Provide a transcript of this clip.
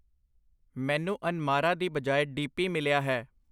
ਮੈਨੂੰ ਅਨਮਾਰਾ ਦੀ ਬਜਾਏ ਦੀ ਪੀ ਮਿਲਿਆ ਹੈ I